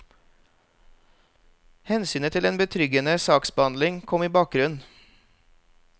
Hensynet til en betryggende saksbehandling kom i bakgrunnen.